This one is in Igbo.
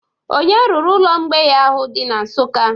Onye rụrụ ụlọ mgbei ahụ dị na Nsụka?